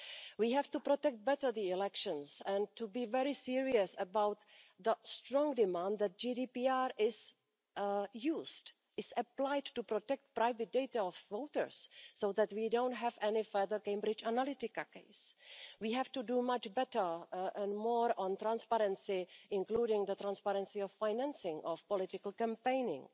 We have to protect better the elections and to be very serious about the strong demand for GDPR to be used, is applied to protect the private data of voters so that we don't have any further Cambridge Analytica cases. We have to do much better and more on transparency, including the transparency of the financing of political campaigning.